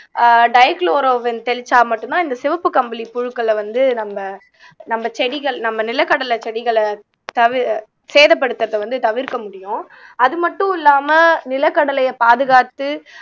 அஹ் டைகுளோரோவின் தெளிச்சா மட்டும்தான் இந்த சிவப்பு கம்பளி புழுக்களை வந்து நம்ம நம்ம செடிகள் நம்ம நிலக்கடலைச் செடிகளை தவிர் சேதப்படுத்தறதை வந்து தவிர்க்க முடியும் அது மட்டும் இல்லாம நிலக்கடலையை பாதுகாத்து